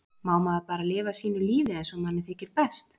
Má maður bara lifa sínu lífi eins og manni þykir best!